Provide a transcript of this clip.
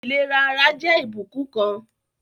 Ìlera ara jẹ́ ìbùkún kan